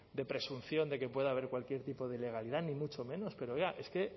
de presunción de que pueda haber cualquier tipo de ilegalidad ni mucho menos pero oiga es que